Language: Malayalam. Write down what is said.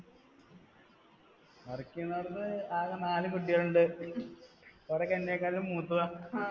പഠിക്കണോടതത് ആകെ നാല് കുട്ടികളുണ്ട്, അവരെ എന്നെക്കാളും മൂത്തതാ